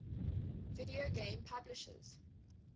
video game publishers